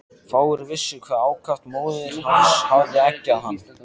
Fáir vissu hve ákaft móðir hans hafði eggjað hann.